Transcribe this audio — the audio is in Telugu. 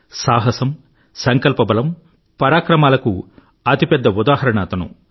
సాహసం సంకల్పబలం పరాక్రమాలకు అతి పెద్ద ఉదాహరణ అతను